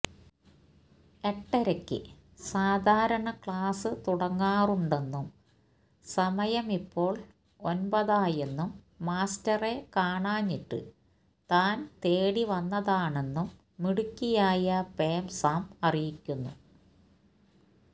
എട്ടരയ്ക്ക് സാധാരണ ക്ലാസ്സ് തുടങ്ങാറുണ്ടെന്നും സമയമിപ്പോള് ഒന്പതായെന്നും മാസ്റ്ററെ കാണാഞ്ഞിട്ട് താന് തേടിവന്നതാണെന്നും മിടുക്കിയായ പേം സാം അറിയിക്കുന്നു